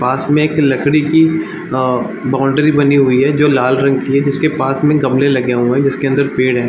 पास में एक लकड़ी की अ बाउंड्री बनी हुए है जो लाल रंग की है जिसके पास में एक गमले लगे हुए हैं अंदर पेड़ है |